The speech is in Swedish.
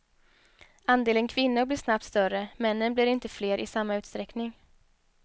Andelen kvinnor blir snabbt större, männen blir inte fler i samma utsträckning.